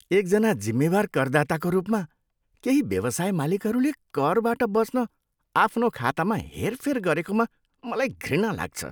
एकजना जिम्मेवार करदाताको रूपमा, केही व्यवसाय मालिकहरूले करबाट बच्न आफ्नो खातामा हेरफेर गरेकोमा मलाई घृणा लाग्छ